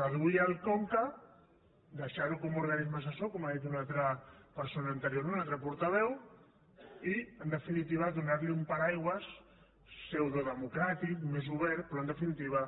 reduir el conca deixar·lo com a organisme assessor com ha dit una altra per·sona anterior un altre portaveu i en definitiva do·nar·li un paraigua pseudodemocràtic més obert pe·rò en definitiva